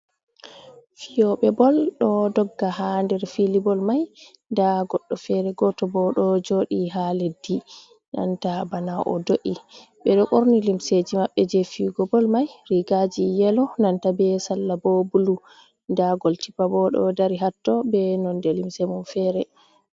fiyobe bol ɗo dogga ha nder fili bol mai, nda goɗɗo fere goto bo ɗo joɗi ha leddi banta bana o do’i, ɓe ɗo ɓorni limseji maɓɓe je fiyigo bol mai, rigaji yelo nanta be salla bo bulu, nda goalkeeper bo ɗo dari hatto be nonde limse mum fere.